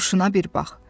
Duruşuna bir bax.